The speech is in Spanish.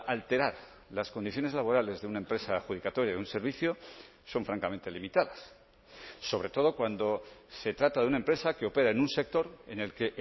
alterar las condiciones laborales de una empresa adjudicataria de un servicio son francamente limitadas sobre todo cuando se trata de una empresa que opera en un sector en el que